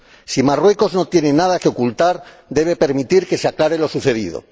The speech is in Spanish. Si Marruecos no tiene nada que ocultar, debe permitir que se aclare lo sucedido.